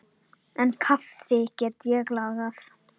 En kaffi get ég lagað.